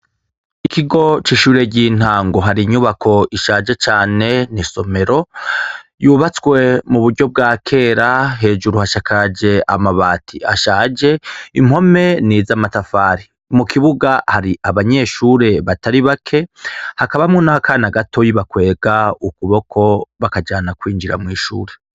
Ikigo cishure ryintango hari inyubako ishaje cane n'isomero yubatswe muburyo bwa kera hejuru hasakaje amabati ashaje impome nizamatafari mukibuga hari abanyeshure batari bake hakabamwo nakana gatoyi bakwega ukuboko bakajana kwinjira mwishure.